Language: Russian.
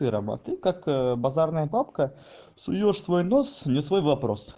ты рома ты как базарная бабка суёшь свой нос не в свой вопрос